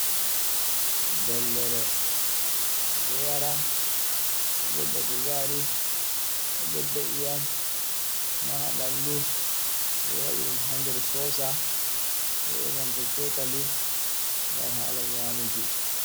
Dollere, ɓe ɗo yara, ɓedda kuzari, bedda iyam ha ɓandu ɓe waɗi ɗum ha nder sosa be nanta cokali gam halan nyamuki.